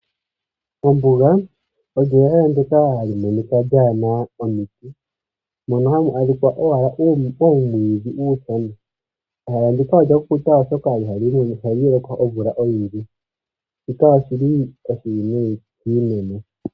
Ombuga olyo ehala ndyoka hali monika lyaa na omiti mono hamu monika owala uumwiidhi uushona. Ehala ndika olya kukuta, oshoka ihamu lokwaomvula oyindji. Shika oshi li oshiwinayi kiimeno.